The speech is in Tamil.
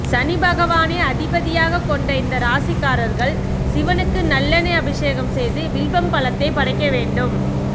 சனிபகவானை அதிபதியாக கொண்ட இந்த ராசிக்காரர்கள் சிவனுக்கு நல்லெண்ணெய் அபிஷேகம் செய்து வில்வம் பழத்தை படைக்க வேண்டும்